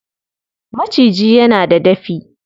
Maciji yana da dafi.